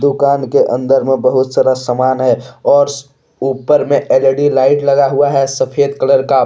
दुकान के अंदर में बहुत सारा सामान है और ऊपर में एल_ई_डी लाइट लगा हुआ है सफेद कलर का।